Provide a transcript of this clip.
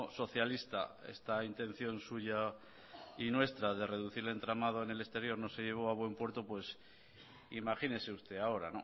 socialista esta intención suya y nuestra de reducir el entramado en el exterior no se llevó a buen puerto pues imagínese usted ahora